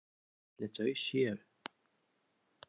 Hvar ætli þau séu?